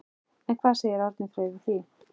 En hvað segir Árni Freyr við því?